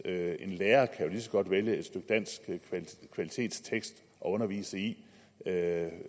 at en lærer jo lige så godt vælge et stykke dansk kvalitetstekst at undervise i end at